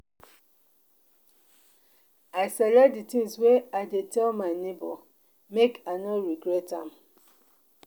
i select di tins wey i dey tell my nebor make i no regret am.